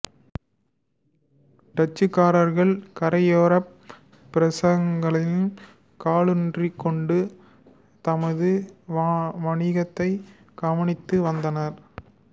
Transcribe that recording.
டச்சுக்காரர்கள் கரையோரப் பிரதேசங்களில் காலூன்றிக்கொண்டு தமது வணிகத்தைக் கவனித்து வந்தனர்